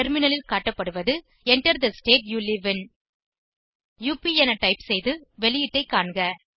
டெர்மினலில் காட்டப்படுவது Enter the state you live in up என டைப் செய்து வெளியீட்டை காண்க